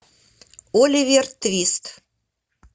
оливер твист